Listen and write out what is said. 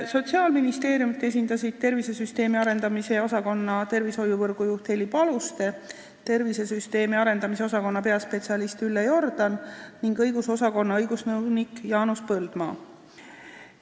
Sotsiaalministeeriumi esindasid tervisesüsteemi arendamise osakonna tervishoiuvõrgu juht Heli Paluste, tervisesüsteemi arendamise osakonna peaspetsialist Ülle Jordan ning õigusosakonna õigusnõunik Jaanus Põldmaa.